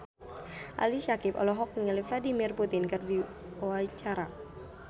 Ali Syakieb olohok ningali Vladimir Putin keur diwawancara